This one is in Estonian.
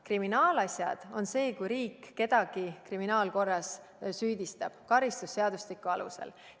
Kriminaalasi on see, kui riik kedagi kriminaalkorras süüdistab karistusseadustiku alusel.